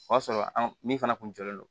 O y'a sɔrɔ an min fana kun jɔlen don